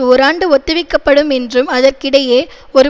ஒராண்டு ஒத்திவைக்கப்படும் என்றும் அதற்கிடையே ஒரு